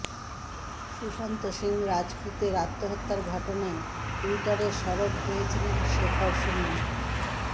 সুশান্ত সিং রাজপুতের আত্মহত্যার ঘটনায় টুইটারে সরব হয়েছিলেন শেখর সুমন